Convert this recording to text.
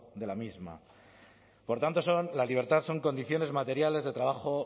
de la misma por tanto la libertad son condiciones materiales de trabajo